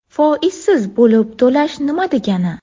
Foizsiz bo‘lib to‘lash nima degani?